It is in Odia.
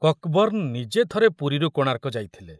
କକବର୍ଣ୍ଣ ନିଜେ ଥରେ ପୁରୀରୁ କୋଣାର୍କ ଯାଇଥିଲେ।